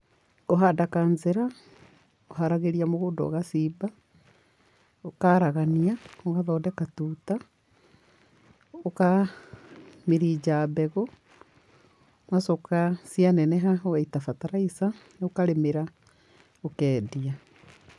Kũhanda kancĩra, ũharagĩria mũgũnda ũgacimba, ũkaaragania, ũgathondeka tuuta, ũka mĩrinja mbegũ, ũgacoka, cia neneha, ũgaita bataraica, ũkarĩmĩra, ũkeendia.